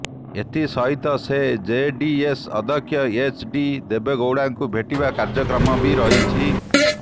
ଏଥିସହିତ ସେ ଜେଡିଏସ ଅଧ୍ୟକ୍ଷ ଏଚଡି ଦେବେଗୌଡ଼ାଙ୍କୁ ଭେଟିବା କାର୍ଯ୍ୟକ୍ରମ ବି ରହିଛି